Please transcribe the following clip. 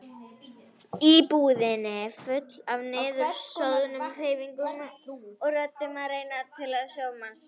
Íbúðin full af niðursoðnum hreyfingum og röddum sem reyna að ná til manns.